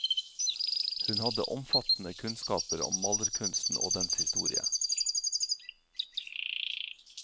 Hun hadde omfattende kunnskaper om malerkunsten og dens historie.